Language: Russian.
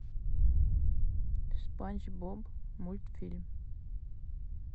спанч боб мультфильм